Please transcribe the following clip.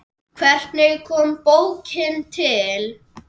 Hvernig kom bókin til?